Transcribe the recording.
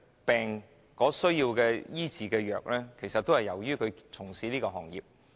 病患者需要藥物治療，起因其實是他們從事的行業。